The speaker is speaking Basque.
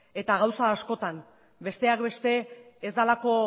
gauza askotan besteak beste ez delako